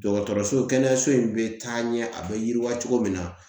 Dɔgɔtɔrɔso kɛnɛyaso in be taa ɲɛ, a be yiriwa cogo min na